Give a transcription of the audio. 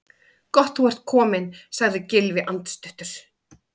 Gott þú ert kominn- sagði Gylfi andstuttur.